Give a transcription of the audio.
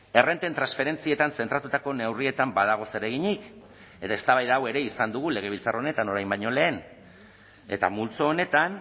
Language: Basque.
errenten transferentzietan zentratutako neurrietan badago zereginik edo eztabaida hau ere izan dugu legebiltzar honetan orain baino lehen eta multzo honetan